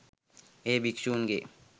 එය භික්ෂූන්ගේ